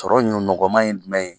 Sɔrɔ ɲɔ nɔgɔman ye dumɛn ye?